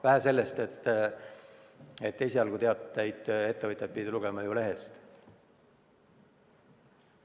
Vähe sellest, esialgu pidid ettevõtjad neid teateid lugema lehest.